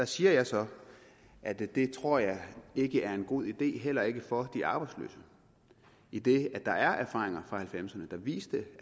siger så at det det tror jeg ikke er en god idé heller ikke for de arbejdsløse idet der er erfaringer fra nitten halvfemserne der viser at